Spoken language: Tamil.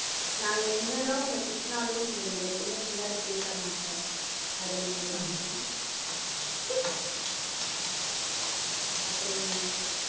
நான் என்னதான் உன்னை திட்டினாலும் நீ என்னை எப்பவுமே பின்னாடி பேச மாட்ட அது எனக்கு ரொம்ப பிடிக்கும் அஹ் அப்பறம்